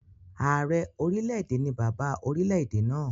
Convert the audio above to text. Ààrẹ orílẹ̀-èdè ni bàbá orilẹ̀-èdè náà